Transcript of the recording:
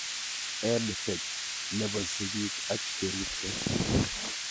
EdTech nepo sigik ak cheripsei